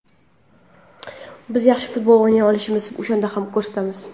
Biz yaxshi futbol o‘ynay olishimizni o‘shanda ham ko‘rsatamiz.